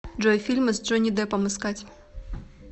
джой фильмы с джонни деппом искать